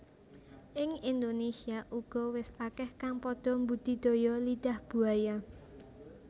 Ing Indonésia uga wis akeh kang padha mbudidaya Lidah Buaya